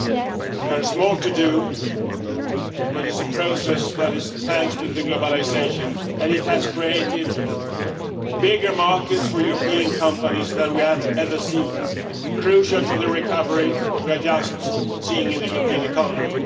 There is more to do, but it is a process that is thanks to globalisation, and it has created bigger markets for European companies than we have ever seen crucial for the recovery we are just seeing in the European economy.